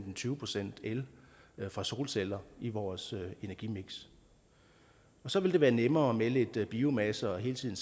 tyve procent el fra solceller i vores energimiks og så ville det være nemmere med lidt biomasse hele tiden